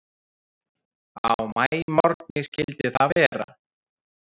Á maímorgni skyldi það vera.